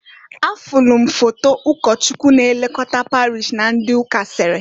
Afulu m foto ụkọchụkwu na-elokota parish na ndị ụka sere.